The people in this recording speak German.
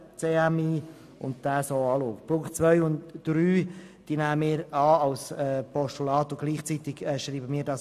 Die Ziffern 2 und 3 nehmen wir als Postulat mit gleichzeitiger Abschreibung an.